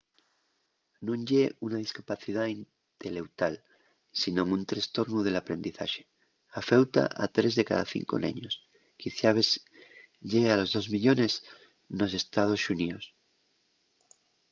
nun ye una discapacidá inteleutual sinón un trestornu del aprendizaxe; afeuta a 3 de cada 5 neños quiciabes llegue a los 2 millones nos ee.xx.